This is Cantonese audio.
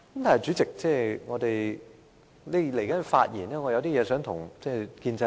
然而，主席，在稍後的發言中，我有些話想對建制派說。